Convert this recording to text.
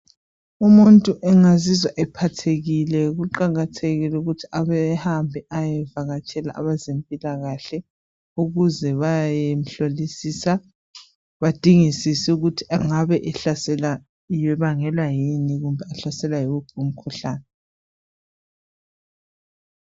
Umuntu engazizwa ephathekile kuqakathekile ukuthi ehambe eyevakatshela abezempilakahle ukuze bayemhlolisisa badingisise ukuthi engabe ehlaselwa abangelwa yini kumbe uhlaselwa yiwuphi umkhuhlane